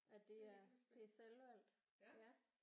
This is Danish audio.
At det er det er selvvalgt ja